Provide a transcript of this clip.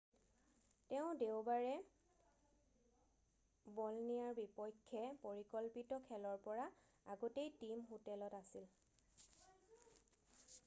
তেওঁ দেওবাৰে বলনিয়াৰ বিপক্ষে পৰিকল্পিত খেলৰ পৰা আগতেই টীম হোটেলত আছিল৷